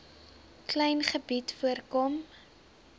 klein gebied voorkom